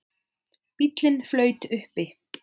Bíllinn flaut uppi